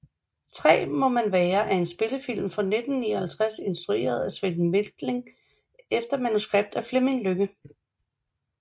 3 må man være er en spillefilm fra 1959 instrueret af Sven Methling efter manuskript af Fleming Lynge